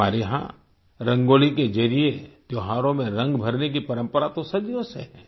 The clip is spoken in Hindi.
हमारे यहाँ रंगोली के जरिए त्योहारों में रंग भरने की परंपरा तो सदियों से है